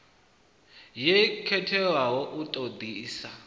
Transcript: yo khetheaho u ṱo ḓisisa